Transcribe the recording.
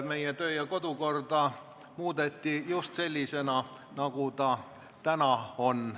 Meie kodu- ja töökord muudeti just selliseks, nagu see täna on.